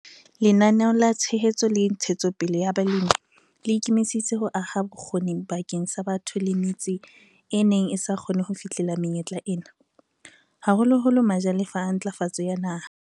Lenaneo la Tshehetso le Ntshetsopele ya Balemi le ikemiseditse ho aha bokgoni bakeng sa batho le metse e neng e sa kgone ho fihlella menyetla ena, haholoholo majalefa a Ntlafatso ya Naha.